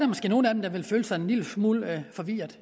måske nogle af dem der vil føle sig en lille smule forvirrede